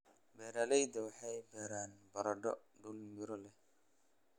Beeraleydu waxay beeraan baradho dhul miro leh.